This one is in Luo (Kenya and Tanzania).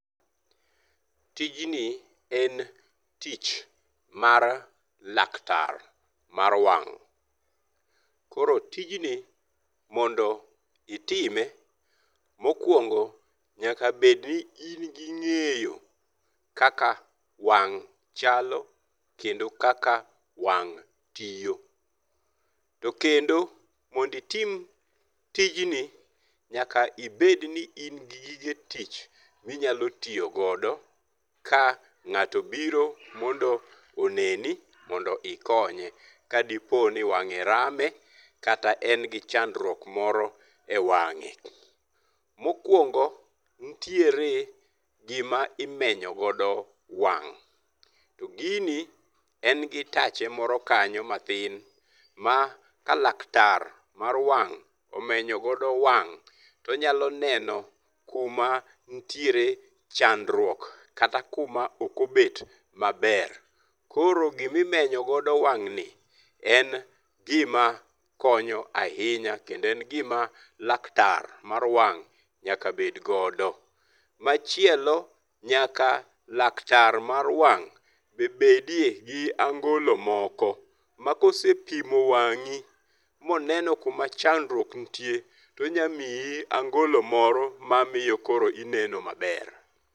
Tijni en tich mar laktar mar wang'. Koro tijni mondo itime mokwongo nyakabed ni in gi ng'eyo kaka wang' chalo kendo kaka wang' tiyo. To kendo mondo itim tijni nyaka ibed ni in gi gige tich minyalo tiyogodo ka ng'ato obiro mondo oneni mondo ikonye ka dipo ni wang'e rame kata en gi chandruok moro e wang'e. Mokwongo nitiere gima imenyo godo wang'. To gini en gi tache moro kanyo matin ma ka laktar mar wang' omenyogodo wang' to onyaloneno kuma nitiere nyandruok kata kuma ok obet maber. Koro gimimenyo godo wang' ni en gima konyo ahinya kendo en gima laktar mar wang' nyaka bed godo. Machielo, nyaka laktar mar wang' be bedie gi angolo moko ma kose pimo wang'i moneno kuma chandruok nitie to onyalo miyi angolo moro mamiyo koro ineno maber.